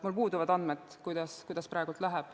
Mul puuduvad andmed, kuidas see praegu läheb.